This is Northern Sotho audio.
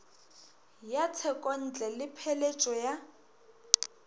ya tshekontle le pheletšo ya